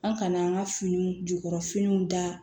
An kana an ka finiw jukɔrɔ finiw da